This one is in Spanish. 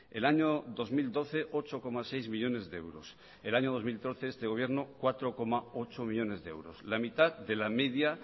el año dos mil doce ocho coma seis millónes de euros el año dos mil trece este gobierno cuatro coma ocho millónes de euros la mitad de la media